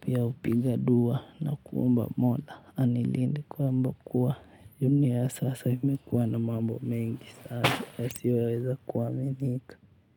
pia hupiga dua na kuomba mola anilinde kwamba kuwa, dunia ya sasa imekuwa na mambo mengi sana yasiyoweza kuaminika.